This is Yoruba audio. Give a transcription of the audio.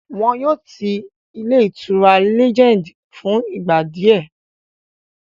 Wọ́n yóò ti ilé ìtura Legend fún ìgbà díẹ̀